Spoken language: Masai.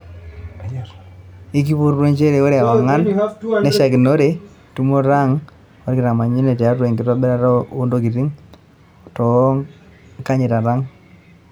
Ikipotuo njere ore eweng'ana neishakinore tumoto ang' olkitamanyune tiatua enkitobira oo ntokitin o toonkaingitay ang.